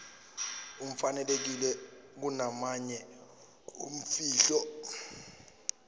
afanelekile kunamanye imfihlo